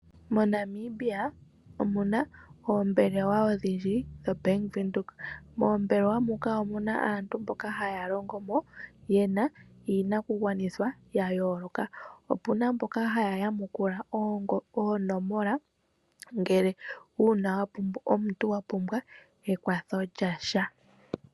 MoNamibia omuna oombelewa odhindji dho Bank Windhoek. Moombelewa muka omuna aantu mboka haya longo mo yena iinakugwanithwa ya yooloka. Opuna mboka haya yamukula oonomola ngele omuntu wa pumbwa ekwatho lyasha.